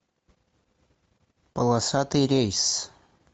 полосатый рейс